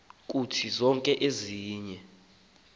kuthi zonke ezinye